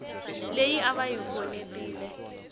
leyi a va yi khonetile